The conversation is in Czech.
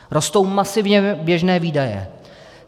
Rostou masivně běžné výdaje.